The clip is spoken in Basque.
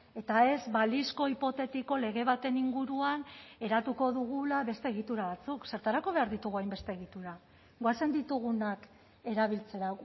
eta ez balizko hipotetiko lege baten inguruan eratuko dugula beste egitura batzuk zertarako behar ditugu hainbeste egitura goazen ditugunak erabiltzera